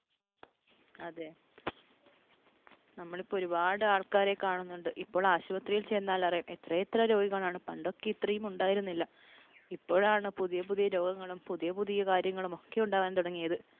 അതെ. നമ്മളിപ്പോൾ ഒരുപാട് ആൾക്കാരെ കാണുന്നുണ്ട്. ഇപ്പോൾ ആശുപത്രിയിൽ ചെന്നാൽ അറിയാം എത്ര എത്ര രോഗികളാണ്. പണ്ടൊക്കെ ഇത്രയും ഉണ്ടായിരുന്നില്ല. ഇപ്പോഴാണ് പുതിയ പുതിയ രോഗങ്ങളും പുതിയ പുതിയ കാര്യങ്ങളും ഒക്കെ ഉണ്ടാകാൻ തുടങ്ങിയത്.